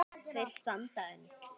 Þeir standa enn.